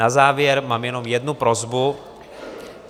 Na závěr mám jenom jednu prosbu.